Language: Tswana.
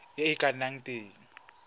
e e ka nnang teng